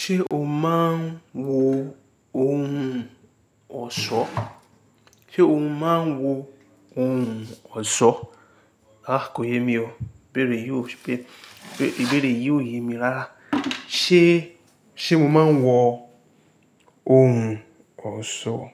Ṣé o máa ń wo ohun ọ̀ṣọ́? Sé o máa ń wọ ohun ọ̀ṣọ́? A kò yé mi o. Ìbéèrè yìí ò yé mi rárá. Ṣé, ṣe mo máa ń wọ ohun ọ̀ṣọ́?